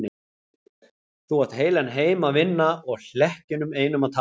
Þú átt heilan heim að vinna og hlekkjunum einum að tapa.